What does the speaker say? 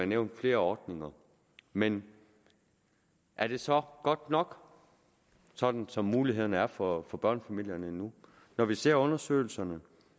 nævnt flere ordninger men er det så godt nok sådan som mulighederne er for for børnefamilierne nu når vi ser undersøgelserne